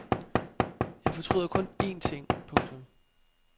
Jeg fortryder kun én ting. punktum